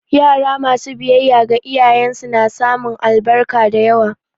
Yara masu biyayya ga iyayen su su samun albarka da yawa